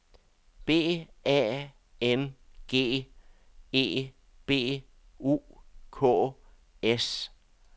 B A N G E B U K S